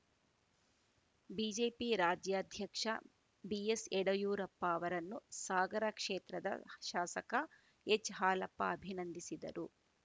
BJP ರಾಜ್ಯಾಧ್ಯಕ್ಷ ಬಿಎಸ್‌ಯಡಯೂರಪ್ಪ ಅವರನ್ನು ಸಾಗರ ಕ್ಷೇತ್ರದ ಶಾಸಕ ಎಚ್‌ಹಾಲಪ್ಪ ಅಭಿನಂದಿಸಿದರು